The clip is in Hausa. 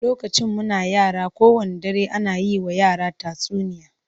Lokacin muna yara, kowanne dare ana yi wa yara tatsuniya